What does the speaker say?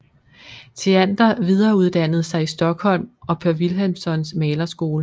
Theander videreuddannede sig i Stockholm og på Wilhelmssons malerskole